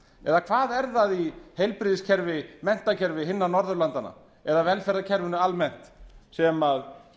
eða hvað er það í heilbrigðiskerfi eða menntakerfi hinna norðurlandanna eða velferðarkerfinu almennt sem